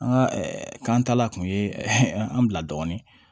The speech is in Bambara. An ka kan ta la kun ye an bila dɔɔnin